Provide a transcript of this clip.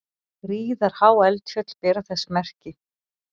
Gríðarhá eldfjöll bera þess merki.